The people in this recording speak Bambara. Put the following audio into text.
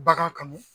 Bagan kanu